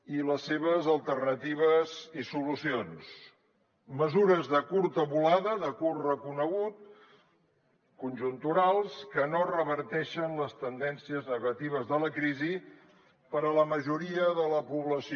i les seves alternatives i solucions mesures de curta volada de curt recorregut conjunturals que no reverteixen les tendències negatives de la crisi per a la majoria de la població